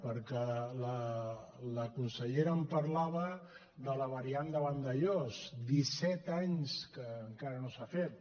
perquè la consellera em parlava de la variant de vandellòs disset anys que encara no s’ha fet